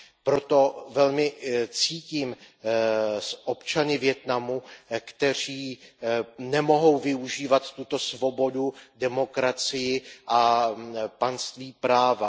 Proto velmi cítím s občany Vietnamu, kteří nemohou využívat tuto svobodu, demokracii a panství práva.